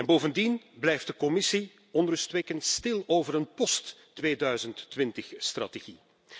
Bovendien blijft de Commissie onrustwekkend stil over een post-2020 strategie.